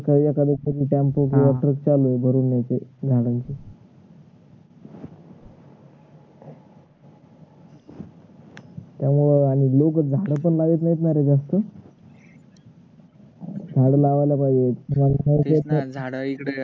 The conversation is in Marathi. लोक झाड पण नाही लावत नाही न रे जास्त झाड लावायला पाहिजेत